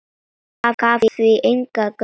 Gaf því engan gaum.